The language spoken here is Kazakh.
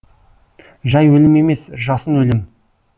жай өлім емес жасын өлім